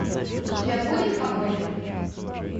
у тебя будет погоня